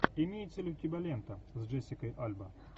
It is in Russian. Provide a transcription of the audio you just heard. имеется ли у тебя лента с джессикой альба